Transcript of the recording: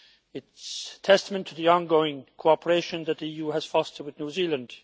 It is testament to the ongoing cooperation that the EU has fostered with New Zealand.